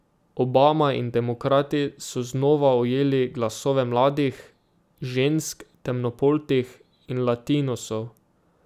Obama in demokrati so znova ujeli glasove mladih, žensk, temnopoltih in latinosov.